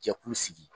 Jɛkulu sigi